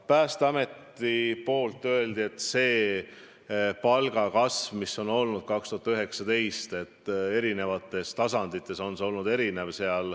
Päästeameti esindajad ütlesid, et palgakasv, mis on olnud aastal 2019 erinevatel tasanditel, on olnud erinev.